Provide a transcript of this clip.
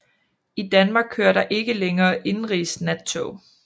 I Danmark kører der ikke længere indenrigsnattog